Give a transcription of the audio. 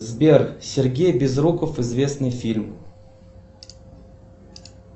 сбер сергей безруков известный фильм